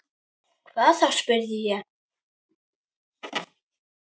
Hvað þá? spurði ég.